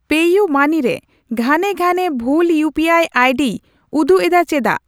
ᱯᱮᱤᱭᱩᱢᱟᱹᱱᱤ ᱨᱮ ᱜᱷᱟᱱᱮ ᱜᱷᱟᱱᱮ ᱵᱷᱩᱞ ᱤᱭᱩᱯᱤᱟᱭ ᱟᱭᱰᱤᱭ ᱩᱫᱩᱜ ᱮᱫᱟ ᱪᱮᱫᱟᱜ ?